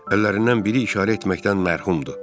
Əllərindən biri işarə etməkdən mərhumdur.